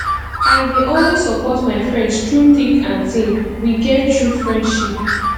i dey always support my friends through thick and thin we get true friendship